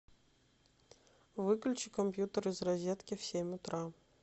выключи компьютер из розетки в семь утра